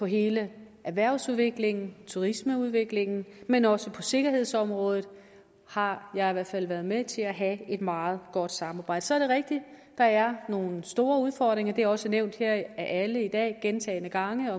hele erhvervsudviklingen turismeudviklingen men også på sikkerhedsområdet har jeg i hvert fald været med til at have et meget godt samarbejde så er det rigtigt at der er nogle store udfordringer det er også nævnt af alle her i dag gentagne gange